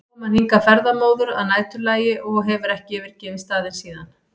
kom hann hingað ferðamóður að næturlagi og hefur ekki yfirgefið staðinn síðan.